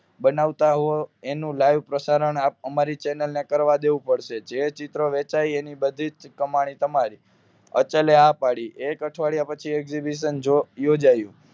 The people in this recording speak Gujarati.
બનાવતા હોય એનું લાઈવ પ્રસારણ અમારી ચેનલ ને કરવા દેવું પડશે જે ચિત્ર વેચાઈ એની બધી જ કમાણી તમારી અચલે હા પડી એક અઠવાડિયા પછી exhibition જો યોજાયું